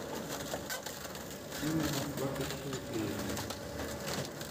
фильм москва кассиопея